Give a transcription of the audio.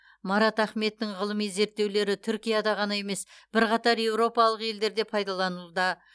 марат ахметтің ғылыми зерттеулері түркияда ғана емес бірқатар еуропалық елдерде пайдаланылуда